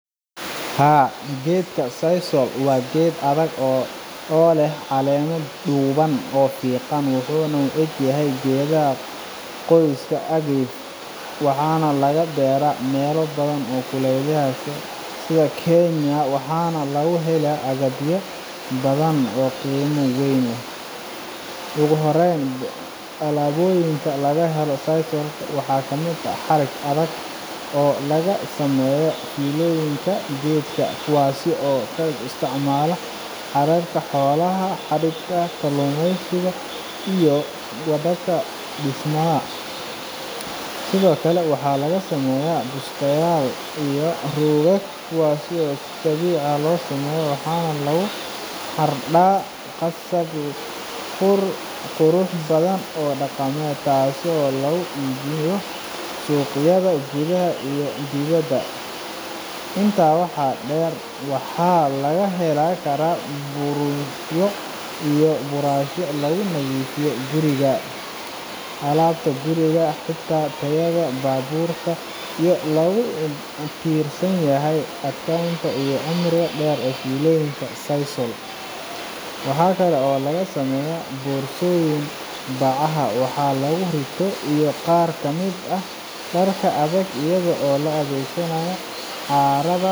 Geedka sisal-ka waa dhir adag oo si fiican ugu kori karta meelaha kulaylaha ah, gaar ahaan Soomaaliya iyo dalalka kale ee ku yaalla geeska Afrika. Sisal-ka waxaa laga helaa caleemaha dhaadheer ee qallalan oo leh xargo adag oo loo isticmaalo in laga sameeyo alaabooyin kala duwan. Waxaa ka mid ah alaabooyinka laga helo dunta sisal oo ah mid aad u xoog badan, taas oo loo isticmaalo sameynta xarig, suuf, boorsooyin, roogag, iyo xitaa kabaha dhaqanka. Intaas waxaa dheer, sisal-ka waxaa laga samayn karaa alaabooyin farshaxan iyo qurxin ah oo lagu qurxiyo guriga sida dhoobooyin iyo saqafyo. Waxa kale oo sisal-ka loo isticmaalaa in lagu sameeyo bacaha waaweyn ee lagu kaydiyo badeecadaha beeraha iyo kuwa kale ee culus.